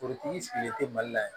Forotigi sigilen tɛ mali la yan